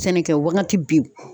Sɛnɛkɛ wagati bin